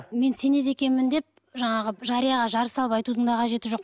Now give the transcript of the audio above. мен сенеді екенмін деп жаңағы жарияға жар салып айтудың да қажеті жоқ